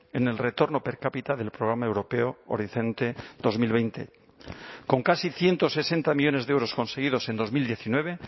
en el retorno per cápita del programa europeo horizonte dos mil veinte con casi ciento sesenta millónes de euros conseguidos en dos mil diecinueve